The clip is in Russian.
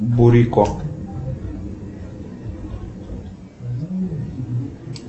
бурико